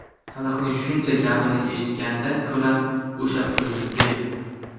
Xalqning shuncha gapini eshitgandan ko‘ra, o‘sha pulni ber.